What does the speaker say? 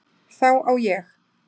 Þá á ég